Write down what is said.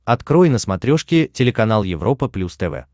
открой на смотрешке телеканал европа плюс тв